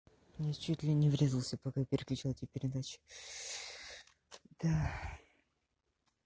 я чуть ли не врезался пока переключал те передачи да